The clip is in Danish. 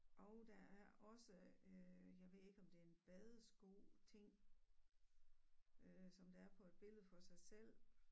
Og der er også øh jeg ved ikke om det er en badesko ting øh som der er på et billede for sig selv